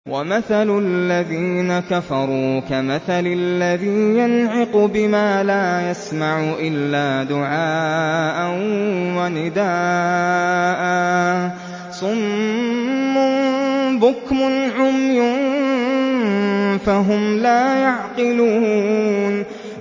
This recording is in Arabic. وَمَثَلُ الَّذِينَ كَفَرُوا كَمَثَلِ الَّذِي يَنْعِقُ بِمَا لَا يَسْمَعُ إِلَّا دُعَاءً وَنِدَاءً ۚ صُمٌّ بُكْمٌ عُمْيٌ فَهُمْ لَا يَعْقِلُونَ